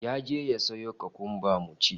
Ya je ya sayo kukumba mun ci